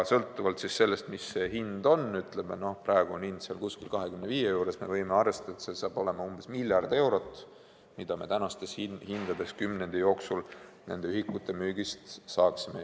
Sõltuvalt sellest, mis ühiku hind on – praegu on hind seal kuskil 25 juures –, võime arvestada, et see summa saab olema umbes miljard eurot, mida me tänastes hindades kümnendi jooksul nende ühikute müügist saaksime.